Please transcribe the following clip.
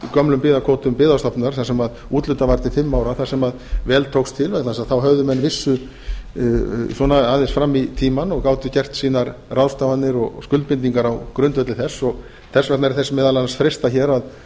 gömlum byggðakvótum byggðastofnunar þar sem úthlutað var til fimm ára þar sem vel tókst til vegna þess að þá höfðu menn vissu svona aðeins fram í tímann og gátu gert sínar ráðstafanir og skuldbindingar á grundvelli þess þess opna er þess meðal annars freistað hér að